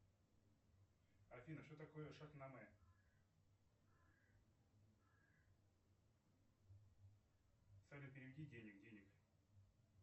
афина что такое шахнаме салют переведи денег денег